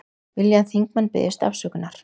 Vilja að þingmenn biðjist afsökunar